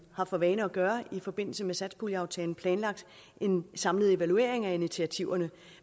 har for vane at gøre i forbindelse med satspuljeaftalen planlagt en samlet evaluering af initiativerne